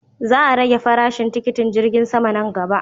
Za a rage farashin tikitin jirgi sama nan gaba.